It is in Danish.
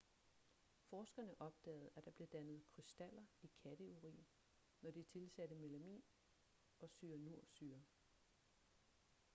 forskerne opdagede at der blev dannet krystaller i katteurin når de tilsatte melamin og cyanursyre